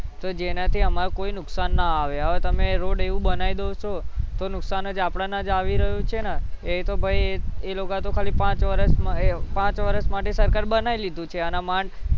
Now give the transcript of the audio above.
તો જેનાથી અમારું કોઈ નુકસાન ના આવે હવે તમે રોડ એવો બનાઈ દો છો તો નુકસાન જ આપણાને જ આવી રહ્યું છે ને એ તો ભૈ એ લોકો તો ખાલી પાંચ વર્ષમાં એ પાંચ વર્ષ માટે સરકાર બનાઈ લીધું છે અને મન